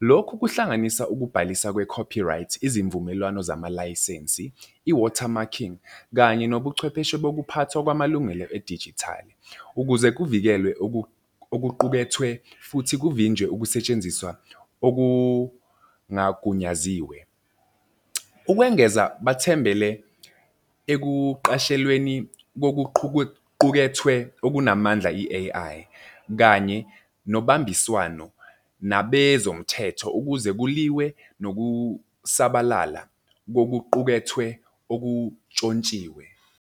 Lokhu kuhlanganisa ukubhalisa kwe-copyright, izimvumelwano zamalayisensi, i-water marking, kanye nobuchwepheshe bokuphathwa kwamalungelo edijithali ukuze kuvikelwe okuqukethwe futhi kuvinjwe ukusetshenziswa okungagunyaziwe. Ukwengeza, bathembele ekuqashelweni kokuqukethwe okunamandla, i-A_I, kanye nobambiswano nabezomthetho ukuze kuliwe nokusabalala kokuqukethwe okuntshontshiwe.